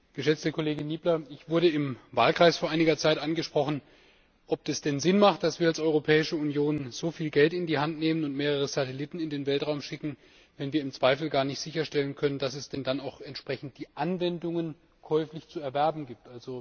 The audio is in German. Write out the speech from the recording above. Geschätzte Kollegin Niebler, ich wurde im Wahlkreis vor einiger Zeit angesprochen, ob es denn Sinn hat, dass wir als Europäische Union so viel Geld in die Hand nehmen und mehrere Satelliten in den Weltraum schicken, wenn wir im Zweifel gar nicht sicherstellen können, dass es dann auch die Anwendungen käuflich zu erwerben gibt.